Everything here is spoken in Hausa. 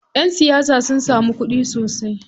Ƴan siyasa sun samun kuɗi sosai.